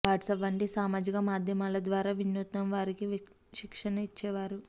WhatsApp వంటి సామాజిక మాధ్యమాల ద్వారా వినూత్నం వారికి శిక్షణ ఇచ్చేవారు